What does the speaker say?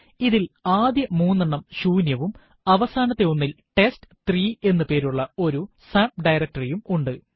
ഇതിൽ ആദ്യ മൂന്നെണ്ണം ശൂന്യവും അവസാനത്തെ ഒന്നിൽ ടെസ്റ്റ്3 എന്ന് പേരുള്ള ഒരു സബ്ഡയറക്ടറി യും ഉണ്ട്